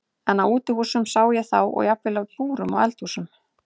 En á útihúsum sá ég þá og jafnvel í búrum og eldhúsum.